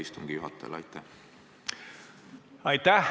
Aitäh!